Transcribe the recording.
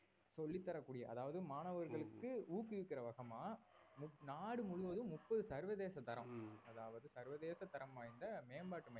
சொல்லித் தரக்கூடிய அதாவது மாணவர்களுக்கு ஊக்குவிக்கிற வசமா நாடு முழுவதும் முப்பது சர்வதேச தரம் அதாவது சர்வதேச தரம்வாய்ந்த மேம்பாட்டு மையம்